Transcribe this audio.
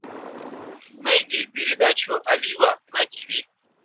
найди передачу олива на тиви